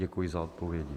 Děkuji za odpovědi.